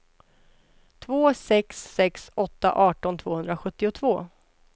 två sex sex åtta arton tvåhundrasjuttiotvå